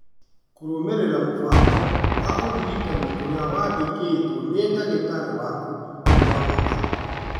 Kũrũmĩrĩra mũbango wa ũrigitani ũrĩa wandĩkĩtwo nĩ ndagĩtarĩ waku nĩ gwa bata.